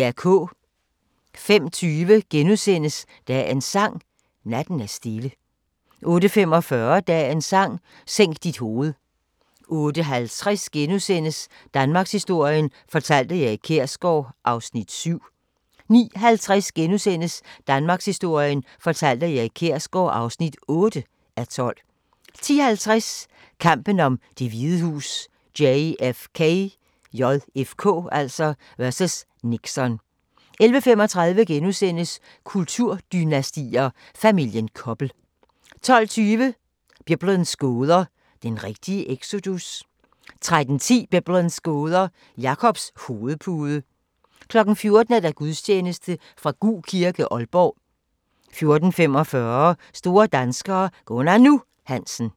05:20: Dagens Sang: Natten er stille * 08:45: Dagens Sang: Sænk dit hoved 08:50: Danmarkshistorien fortalt af Erik Kjersgaard (7:12)* 09:50: Danmarkshistorien fortalt af Erik Kjersgaard (8:12)* 10:50: Kampen om Det Hvide Hus: JFK vs. Nixon 11:35: Kulturdynastier: Familien Koppel * 12:20: Biblens gåder – den rigtige exodus? 13:10: Biblens gåder – Jakobs hovedpude 14:00: Gudstjeneste fra Gug kirke, Aalborg 14:45: Store danskere - Gunnar "Nu" Hansen